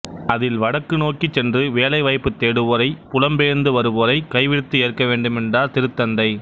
அதில் வடக்கு நோக்கிச் சென்று வேலை வாய்ப்புத் தேடுவோரை புலம்பெயர்ந்து வருவோரை கைவிரித்து ஏற்கவேண்டும் என்றார் திருத்தந்தை